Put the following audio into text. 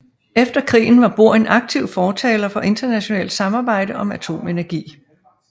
Efter krigen var Bohr en aktiv fortaler for internationalt samarbejde om atomenergi